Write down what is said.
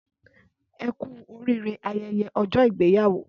Ẹkú orire ayẹyẹ ọjọ ìgbéyàwó